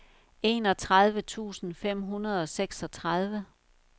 enogtredive tusind fem hundrede og seksogtredive